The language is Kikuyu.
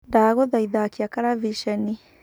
Ndagũthaitha akia karaviceni.